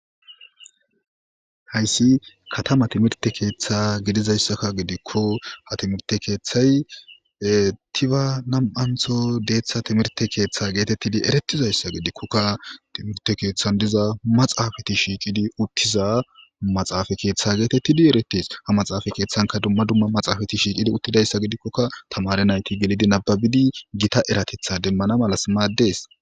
Hayssi katama timirte keeththa gidizayssakka gidikko ha timirte keeththay tiba nam'antho deeththa timirte keeththa geetettidi eretizayssa gidikkokka timirte keeththan diza maxaafati shiicidi uttiza maxaafa keeththa geetettidi eretes ha maxaafa keeththanka dumma dumma maxaafati shiicidi uttidayssa gidikkokka tamare nayti gelidi nababidi gita eratetha demmana malas maaddees.